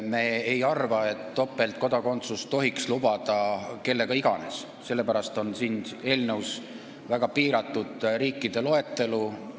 Me ei arva, et topeltkodakondsust tohiks lubada kellele iganes, sellepärast on siin eelnõus väga piiratud riikide loetelu.